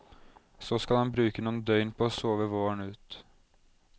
Så skal han bruke noen døgn på å sove våren ut.